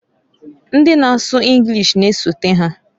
Ndi na asu Enlish na-esota ha.